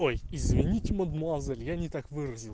ой извините мадемуазель я не так выразил